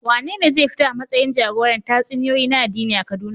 Wanene zai fito a matsayin jagoran tatsuniyoyi na addini a Kaduna?